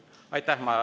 Aitäh!